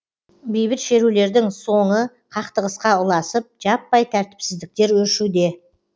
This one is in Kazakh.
бейбіт шерулердің соңы қақтығысқа ұласып жаппай тәртіпсіздіктер өршуде